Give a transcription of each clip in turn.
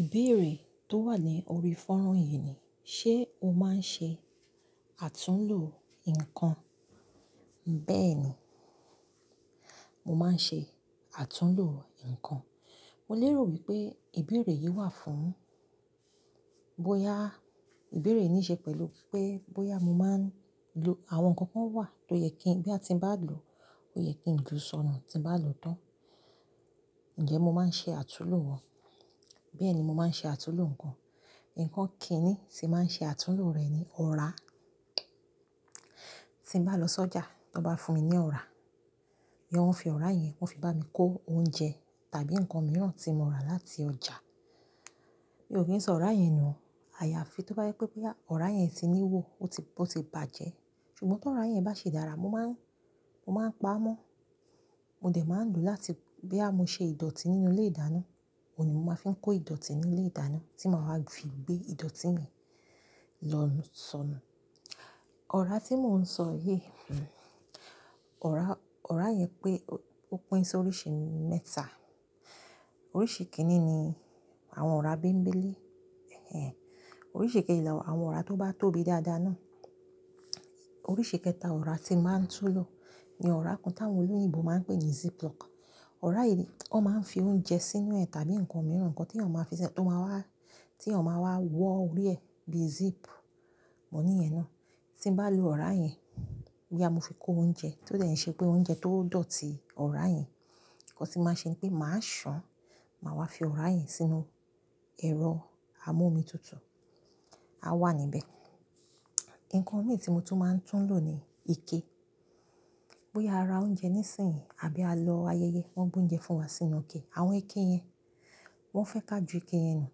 Ìbéèrè tó wà ní orí fọ́nran yìí ni, ṣe o máa ń ṣe àtúnlo nǹkan? Bẹ́ẹ̀ni, mo máa ń ṣe àtúnlo nǹkan. Mo lérò wípé ìbéèrè yìí wà fún bóyá ìbéèrè nìí ṣe pẹ̀lú pé bóyá mo máa ń lo àwọn nǹkan kan wà tó yẹ kí n nigba ti ń bá lò ó yẹ kí ń jù sọnù tí ń bá lò ó tán. Ǹjẹ́ mo máa ń ṣe àtúnlo wọn? Bẹ́ẹ̀ni mo máa ń ṣe àtúnlo nǹkan. Ǹkan kíni tí n màá ń ṣe àtúnlo rẹ̀ ni ọ̀rá. Tí ń bá lọ sọ́jà, ti wọ́n bá fún mi ní ọ̀rá, iyẹn wọ́n fi ọ̀rá yẹn, wọ́n fi bá mi kó oúnjẹ tàbí nǹkan mìíràn tí mo rà láti ọjà. Mi ò kí ń sọ ọ̀rá yẹn nù, àyàfi tó bá jẹ wipé bóyá ọ̀rá yẹn ti ní ihò ó ti, ó ti bàjẹ́. Ṣùgbọ́n tí ọ̀rá yẹn bá ṣi dára, mo máa ń, mo máa ń paá mọ́. Mo dẹ̀ máa ń lò láti boya mo ṣe ìdọ̀tí nínú ilé-ìdáná, òhun ni mo máa fi ń kó ìdọ̀tí nínú ilé-ìdáná tí màá wá fi gbé ìdọ̀tí mi lọ sọnù. Ọ̀rá tí mò ń sọ yìí, ọ̀rá, ọ̀rá yẹn pé ó pín sí oríṣi mẹ́ta. Oríṣi kìn-ín-ní ni àwọn ọ̀rá bẹ́mgbẹ́lé. Ẹ̀hẹ̀n. Oríṣi kejì làwọn ọ̀rá tó bá tóbi dáadáa náà. Oríṣi kẹta ọ̀rá tí n màá ń tún lò ni ọ̀rá kan táwọn olóyìnbo máa ń pè ní ziplock. Ọ̀rá yìí wọ́n máa ń fi oúnjẹ sínú ẹ̀ tàbí nǹkan mìíràn, nǹkan tí èèyàn máa fi ṣe, tó máa wá, tí èèyàn máa wá wọ orí ẹ̀ bí zip. Mo níyẹn ná. Tí ń bá lo ọ̀rá yẹn, boya mo fi kó oúnjẹ, ti ó dẹ̀ b ṣe pé oúnjẹ tó dọ̀tí ọ̀rá yẹn, nǹkan tí màá ṣe ni pé màá ṣàn, màá wá fi ọ̀rá yẹn sínú ẹ̀rọ amómitutù, á wà níbẹ̀. Ǹkan mìí tí mo tún máa ń tún lò ni ike. Boya a ra oúnjẹ nísìnyìí àbí a lọ ayẹyẹ, wọ́n gbé oúnjẹ fún wa sínú ike. Àwọn ike yẹn, wọ́n fẹ́ ká ju ike yẹn nù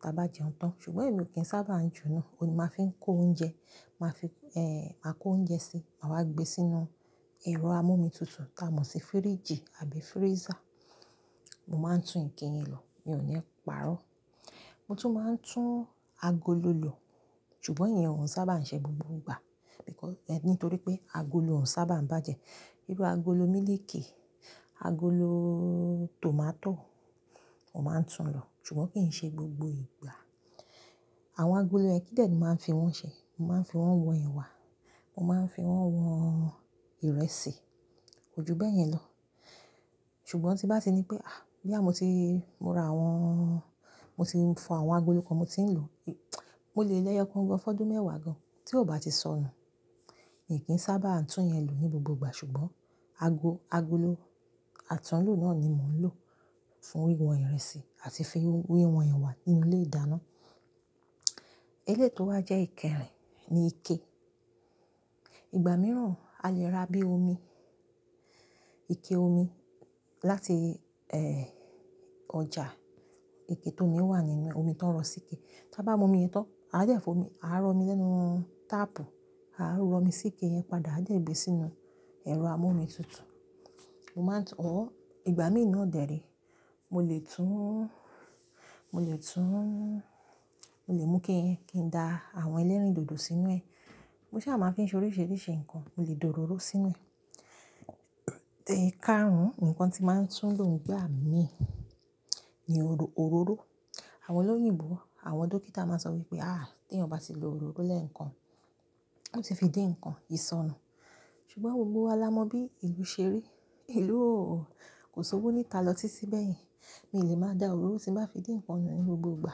tí a bá jẹun tán. Ṣùgbọ́n èmi ò kí ń sábà ń ju nú, òhun ni màá fi ń kó oúnjẹ, màá fi, eeh, maa kó oúnjẹ sí, màa wa gbé sínú ẹ̀rọ amómitutù táa mọ̀ sí fíríjì àbí freezer. Mo máa ń tún ike yẹn lò, mi ò ní parọ́. Mo tún máa ń tún agolo lò. Ṣùgbọ́n ìyẹn ò n sábà ń ṣe gbogbo ìgbà. Because, nítorí pé agolo ò n sábà ń bàjẹ́. Irú agolo mílíkì, agolo tomato, mo máa ń tún lò, ṣùgbọ́n kì í ṣe gbogbo ìgbà. Àwọn agolo yẹ̀n kí dè ni mo màá ń fi wọ́n ṣe? Mo máa ń fi wọ́n wọn ẹwà, mo máa ń fi wọ́n wọn ìrẹsì, kò ju bẹ́yẹn lọ. Ṣùgbọ́n tí n bá ti ní pé, àh! Boyà mo ti, mo ra àwọn, mo ti fọ àwọn agolo kan mo ti ń lò mo lè lẹ́yọokan gan fọ́dún mẹ́wàá gan-an tí ò bá ti sọnù. Mi n kì n sábà tún yẹn lò ní gbogbo ìgbà ṣùgbọ́n ago-agolo àtúnlò náà ni mò ń lò fún wíwọ̀n ìrẹsì àti fi wíwọ̀n ẹwà nínú ilé-ìdáná. Eléyi tó wà jẹ́ ìkẹrin ni ike. Ìgbà mìíràn a lè ra bí omi, ike omi láti, eh, ọjà. Ike tómí wà nínú e omi tón rọ sí ike. Tan bá mu omi yii tán, a dẹ̀ fi omi, a rọ omi lẹ́nu táàpù, a rọ omi sí ike yẹn padà a dẹ gbé sínú ẹ̀rọ amómitutù. Mo máa ń tún or, ìgbà mìí nàa dẹ̀ re mo lè tún, mo lè tún, mo lè mú ike yẹn kí n da àwọn elérìndòdò sínú ẹ̀. Mo sá máa fi ń ṣe oríṣiríṣi nǹkan, mo lè da òróró sínú ẹ̀. Ẹ̀káàrún, ǹkan tí màá ń tún lò n gbà mìí ni òró-òróró. Àwọn olóyìnbo, àwọn dókítà máa sọ wípé, "àh! Tí èèyàn bá ti lo òróró lẹ́ẹ̀kan, ó ti fi din ǹkan, ìsọnù." Ṣùgbọ́n gbogbo wa la mọ bí ìlú ṣe rí. Ìlú ò, kò sowó níta lọ títi bẹ̀yẹn. Mi n lè máa da òróró tí n bàá fi din ǹkan nù ní gbogbo ìgbà.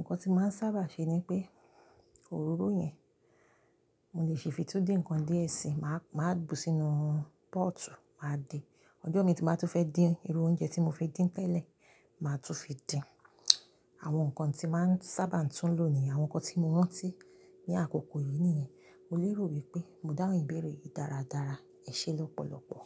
Ǹkan tí màá ń sábà ṣe ni wipé òróró yẹn, mo lè ṣi fi tun dín ǹkan díẹ̀ síi, màá, màá bù sínú pọ́ọ̀tù, màá de. Ọjọ́ mi tí n bàá tún fẹ́ dín irú oúnjẹ tí mo fi dín tẹ̀lẹ́, màá tún fi dín. Àwọn nǹkan tí màá ń sábà n tún lò ní àwọn nǹkan tí mo rán tí ní àkókò yìí nìyẹn. Mo lérò wípé mò dáhùn ìbéèrè yìí dáradára. Ẹ ṣé lọ́pọ̀lọ́pọ̀.